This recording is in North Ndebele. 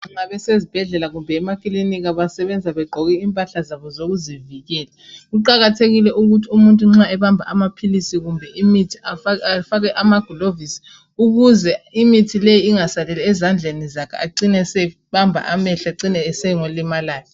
Nxa besezibhedlela kumbe emakilika basebenza begqoke impahla zabo zokuzivikela. Kuqakathekile ukuthi umuntu nxa ebamba amaphilisi kumbe imithi afake amaglovisi ukuze imithi leyi ingasaleli ezandleni zakhe acine esebamba amehlo ecine esongolimalayo.